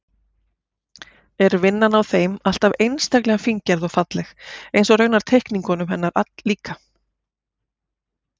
Er vinnan á þeim alltaf einstaklega fíngerð og falleg, eins og raunar teikningunum hennar líka.